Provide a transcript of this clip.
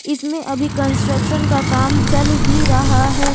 इसमें अभी कंस्ट्रक्शन का काम चल ही रहा है।